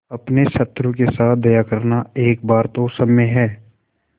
अपने शत्रु के साथ दया करना एक बार तो क्षम्य है